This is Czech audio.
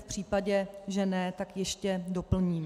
V případě, že ne, tak ještě doplním.